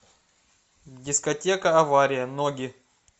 дискотека авария ноги